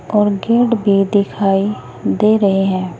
और गेट भी दिखाई दे रहे हैं।